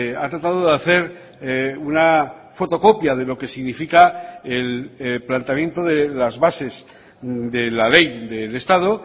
ha tratado de hacer una fotocopia de lo que significa el planteamiento de las bases de la ley del estado